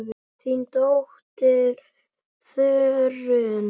Þín dóttir, Þórunn.